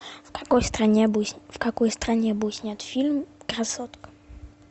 в какой стране был снят фильм красотка